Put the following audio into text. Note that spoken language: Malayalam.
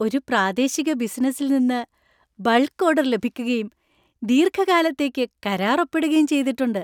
ഒരു പ്രാദേശിക ബിസിനസിൽ നിന്ന് ബൾക്ക് ഓർഡർ ലഭിക്കുകയും, ദീർഘകാലത്തേക്ക് കരാർ ഒപ്പിടുകയും ചെയ്തിട്ടുണ്ട്.